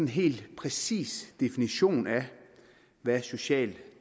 helt præcis definition af hvad social